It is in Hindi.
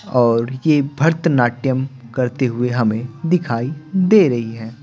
और ये भरत नाट्यम करते हुए हमें दिखाई दे रही हैं।